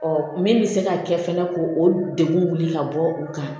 Ɔ min bɛ se ka kɛ fɛnɛ ko o degun wuli ka bɔ u kan